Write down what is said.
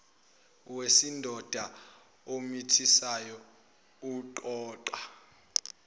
wesidoda omithisayo oqoqa